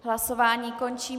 Hlasování končím.